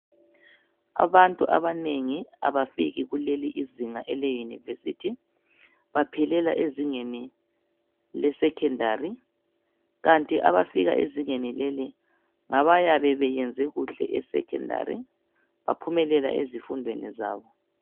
Abantu abanengi abafiki kuleli izinga ele Yunivesithi baphelela ezingeni le sekhendari , kanti abafika ezingeni leli ngabayabe beyenze kahle esekhendari baphumelela ezifundweni zabo.